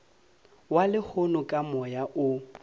wa lehono ka moya o